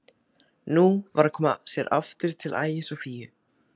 Nú var að koma sér aftur til Ægis og Fíu.